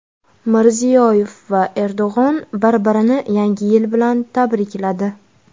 Mirziyoyev va Erdo‘g‘on bir-birini Yangi yil bilan tabrikladi.